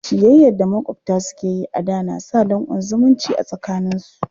Ciyayya da maƙwabta suke yi a da na sa danƙon zumunci a tsakaninsu.